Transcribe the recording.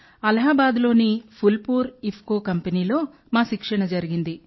అలహాబాద్లోని ఫుల్పూర్ ఇఫ్కో కంపెనీలో మా శిక్షణ జరిగింది